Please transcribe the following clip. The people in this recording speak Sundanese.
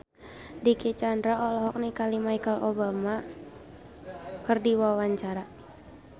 Dicky Chandra olohok ningali Michelle Obama keur diwawancara